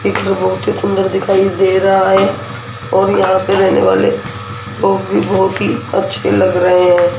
एक बहुत ही सुंदर दिखाई दे रहा है और यहां पे रहने वाले वो भी बहुत ही अच्छे लग रहे हैं।